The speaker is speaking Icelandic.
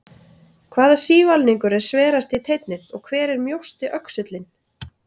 Hvaða sívalningur er sverasti teinninn og hver er mjósti öxullinn?